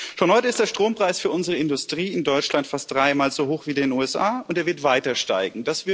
Schon heute ist der Strompreis für unsere Industrie in Deutschland fast dreimal so hoch wie in den USA, und er wird weiter steigen.